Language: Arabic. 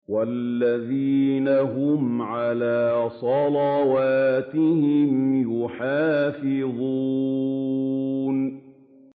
وَالَّذِينَ هُمْ عَلَىٰ صَلَوَاتِهِمْ يُحَافِظُونَ